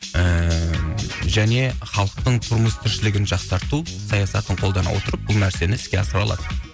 ыыы және халықтың тұрмыс тіршілігін жақсарту саясатын қолдана отырып бұл нәрсені іске асыра алады